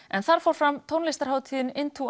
en þar fór fram tónlistarhátíðin